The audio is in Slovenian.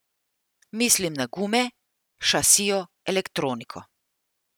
Mislim na gume, šasijo, elektroniko.